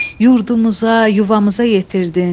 Yurdumuza, yuvamıza yetirdin.